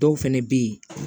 Dɔw fɛnɛ be ye